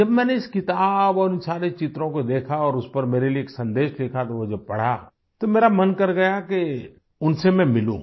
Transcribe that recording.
जब मैंने इस किताब और उन सारे चित्रों को देखा और उस पर मेरे लिए एक सन्देश लिखा और तो जो वो पढ़ा तो मेरा मन कर गया कि उनसे मैं मिलूँ